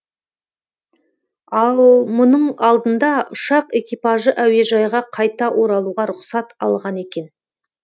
ал мұның алдында ұшақ экипажы әуежайға қайта оралуға рұқсат алған екен